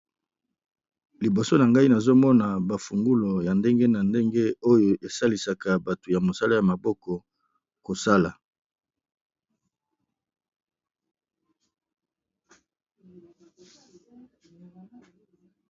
Liboso na ngai nazomona bafungulu ya ndenge na ndenge oyo esalisaka bato ya mosalo ya maboko kosala.